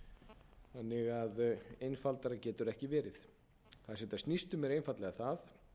gildi einfaldara getur það ekki verið það sem þetta snýst um er einfaldlega um það að